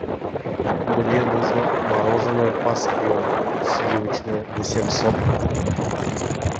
мне нужно мороженое поспел сливочное восемьсот